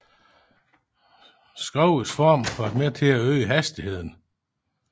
Skrogets form har været med til at øge hastigheden